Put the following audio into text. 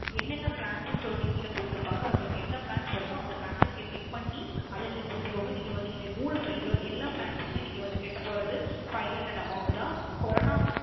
என்ன என்ன Plans னு சொல்லிட்டு கீழ கொடுத்திருப்பாங்க அதில உங்களுக்கு என்ன Plans வருமோ அந்த Plan அ நீங்க Click பண்ணி அதை நீங்க கொடுத்துக்கோங்க நீங்க வந்து இந்த மூணு price ல வந்து எல்ல plans க்குமே கட்டப்போவது Five Hundred Amount தான் Corona